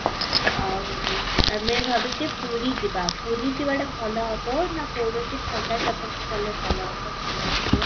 ଆଉ ଆମେ ଭାବୁଛେ ପୁରୀ ଯିବା ପୁରୀ ଯିବାଟା ଭଲ ହବ ନା କୌଣସି ଥଣ୍ଡା ଜାଗାକୁ ଗଲେ ଭଲ ହବ ତମେ କିଛି କୁହ?